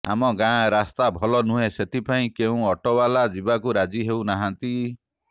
ଆମ ଗାଆଁ ରାସ୍ତା ଭଲ ନୁହେଁ ସେଥିପାଇଁ କେଉଁ ଅଟୋବାଲା ଯିବାକୁ ରାଜି ହେଉନାହାନ୍ତି